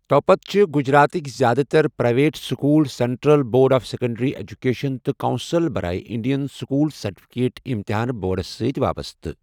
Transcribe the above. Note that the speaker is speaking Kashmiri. تۄپتہٕ چھِ گجراتٕک زِیٛادٕ تر private school central board of secondary education تہٕ کونسل برائے انڈین سکوٗل سرٹیفکیٹ امتحانہٕ بورڈَس سۭتۍ وابستہٕ۔